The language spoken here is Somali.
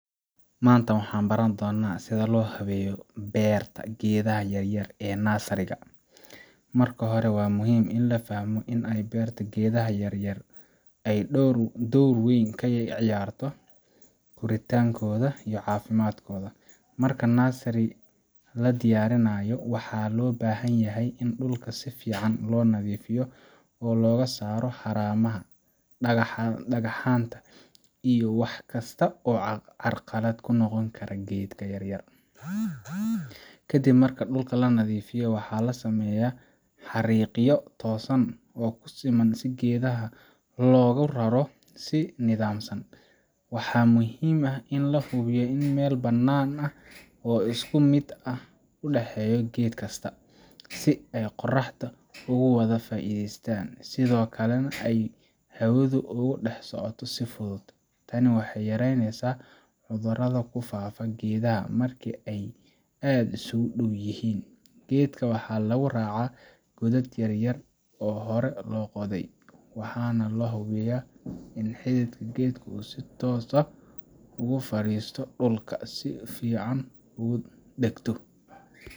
Maanta waxaan baran doonaa sida loo habeeyo beerta geedaha yaryar ee nursery ga. Marka hore, waa muhiim in la fahmo in habaynta geedaha yaryar ay door weyn ka ciyaarto koritaankooda iyo caafimaadkooda. Marka nursery la diyaarinayo, waxaa loo baahan yahay in dhulka si fiican loo nadiifiyo oo laga saaro haramaha, dhagaxaanta, iyo wax kasta oo carqalad ku noqon kara geedka yar yar. Kadib marka dhulka la nadiifiyo, waxaa la sameeyaa xariiqyo toosan oo siman si geedaha loogu raro si nidaamsan. Waxaa muhiim ah in la hubiyo in meel bannaan oo isku mid ah uu u dhexeeyo geed kasta, si ay qorraxda ugu wada faa’iidaystaan, sidoo kalena ay hawadu ugu dhex socoto si fudud. Tani waxay yareynaysaa cudurrada ku faafa geedaha markii ay aad isugu dhow yihiin. Geedka waxaa lagu raraa godad yaryar oo hore loo qoday, waxaana la hubiyaa in xididka geedku uu si toos ah ugu fariisto dhulka, si uu si fiican ugu dhagto